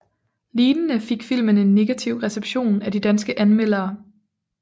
Lignende fik filmen en negativ reception af de danske anmeldere